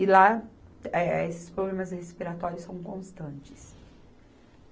E lá, eh, esses problemas respiratórios são constantes.